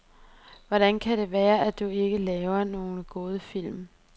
Hvordan kan det være, at du ikke laver nogen gode film?